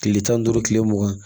Kile tan ni duuru kile mugan